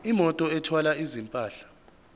imoto ethwala izimpahla